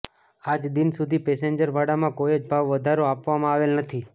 આજદિન સુધી પેસેન્જર ભાડામાં કોઈ જ ભાવ વધારો આપવામાં આવેલ નથી